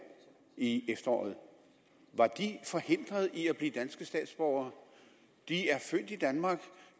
i efteråret forhindret i at blive danske statsborgere de er født i danmark